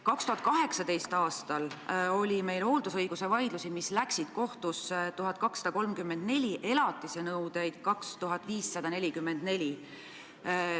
2018. aastal oli hooldusõigusvaidlusi, mis jõudsid kohtusse, 1234, elatisnõudeid 2544.